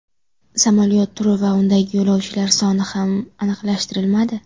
Samolyot turi va undagi yo‘lovchilar soni ham aniqlashtirilmadi.